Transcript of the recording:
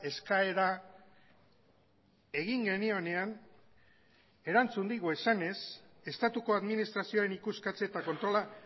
eskaera egin genionean erantzun digu esanez estatuko administrazioaren ikuskatze eta kontrola